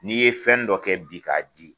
N'i ye fɛnni dɔ kɛ bi k'a di